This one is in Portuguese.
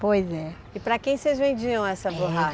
Pois é. E para quem vocês vendiam essa borracha?